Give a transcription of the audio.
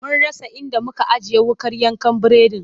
Mun rasa inda muka ajiye wuƙar yanka biredin.